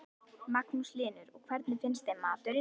Magnús Hlynur: Og hvernig finnst þeim maturinn?